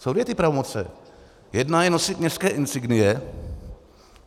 Jsou dvě ty pravomoci - jedna je nosit městské insignie.